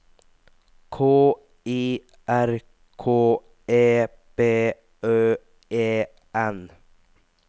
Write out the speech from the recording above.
K I R K E B Ø E N